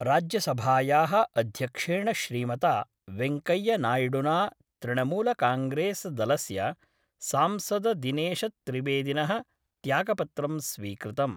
राज्यसभायाः अध्यक्षेण श्रीमता वैंकेय्या नाय्डुना तृणमूलकांग्रेसदलस्य सांसददिनेशत्रिवेदिनः त्यागपत्रं स्वीकृतम्।